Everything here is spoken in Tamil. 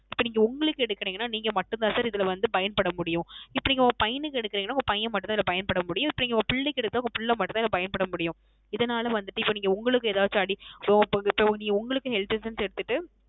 இப்போ நீங்க உங்களுக்கு எடுக்குறிங்கன நீங்க மட்டும் தான் Sir இதுல பயன் பட முடியும் இப்போ நீங்க உங்கள் பையனுக்கு எடுக்குறிங்கன உங்கள் பையன் மட்டும் தான் பயன் பட முடியும் இப்போ நீங்க உங்கள் பிள்ளைக்கு எடுத்த உங்கள் பிள்ளை மட்டும் தான் பயன் பட முடியும் இதனால வந்துட்டு இப்போ உங்களுக்கு ஏதாவுது அடி உங்களுக்கு நீங்க Health insurance எடுத்துட்டு